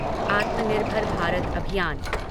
आत्मनिर्भर भारत अभियान